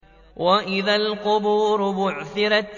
وَإِذَا الْقُبُورُ بُعْثِرَتْ